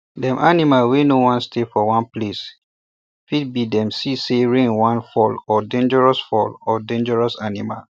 dem animal wey no wan stay for one place w fit be dem see say rain wan fall or dangerous fall or dangerous animal